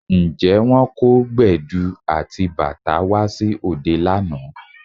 Ǹjẹ́ wọ́n kó Gbẹ̀du àti bàtá wá sí òde lánàá?